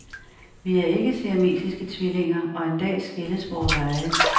Vi er ikke siamesiske tvillinger og en dag skilles vore veje.